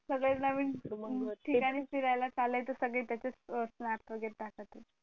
सगळे नवीन ठिकाणी फिरायला चालायचं सगळे त्याचेच snap वैगरे टाकतात